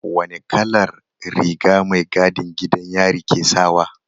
Wane kalar rigar mai gadin gidan yari ke sawa?